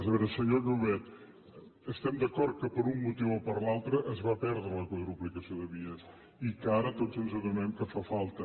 a veure senyor llobet estem d’acord que per un motiu o per l’altre es va perdre la quadruplicació de vies i que ara tots ens adonem que fa falta